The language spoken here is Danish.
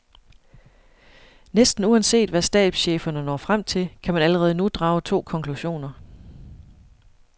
Næsten uanset hvad stabscheferne når frem til, kan man allerede nu drage to konklusioner.